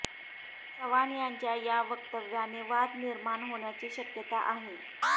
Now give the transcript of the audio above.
चव्हाण यांच्या या वक्तव्याने वाद निर्माण होण्याची शक्यता आहे